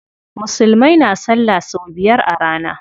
Musulmai na salla sau biyar a rana.